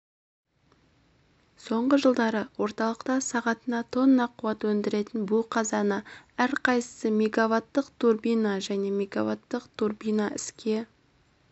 соңғы жылдары орталықта сағатына тонна қуат өндіретін бу қазаны әрқайсысы мегаваттық турбина және мегаваттық турбина іске